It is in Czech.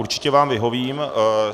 Určitě vám vyhovím.